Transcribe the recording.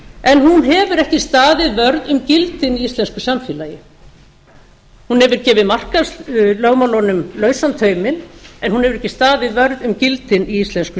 en hún hefur ekki staðið vörð um gildin í íslensku samfélagi hún hefur gefið markaðslögmálunum lausan tauminn en hún hefur ekki staðið vörð um gildin í íslensku